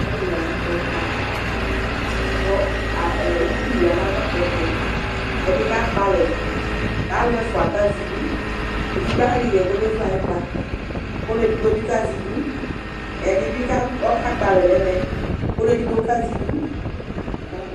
Ɔlʋlʋ ayʋ ɛkʋta, kʋ ukpi ya nʋ atami ɛtʋ Ɛdi akpɔ ɛlɛ, k'alʋ ɛfua k'azɛ idu, edigbo ayɔ ihɛ k'ɔmezu ay'ʋkpa, k'ɔlʋ edigbo bi kazɛ idu, ɛdi bi kakpɔ alɛ n'ɛmɛ, k'ɔlʋ edigbo kazɛ idu